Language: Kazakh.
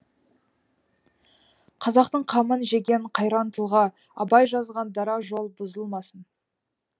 қазақтың қамын жеген қайран тұлға абай жазған дара жол бұзылмасын